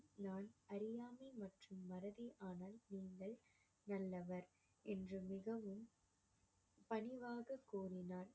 நான் அறியாமை மற்றும் நீங்கள் நல்லவர் என்று மிகவும் பணிவாக கூறினார்